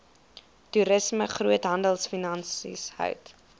toerisme groothandelfinansies hout